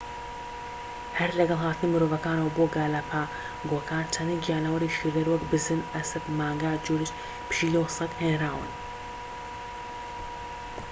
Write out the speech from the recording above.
هەر لەگەڵ هاتنی مرۆڤەکانەوە بۆ گالاپاگۆکان چەندین گیانەوەری شیردەر وەک بزن ئەسپ مانگا جورج پشیلە و سەگ هێنراون